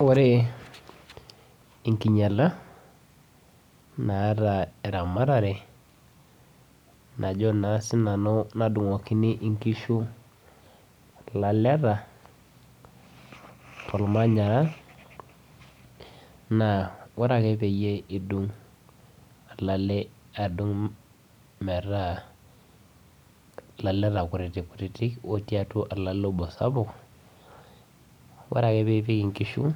Ore enkinyala naata eramatare najo na sinanu nadungukini nkishu laleta tormanyara na ore ake pidung olale metaa laleta kutitik kutitik otii atua olale sapuk ore ake pipik nkishu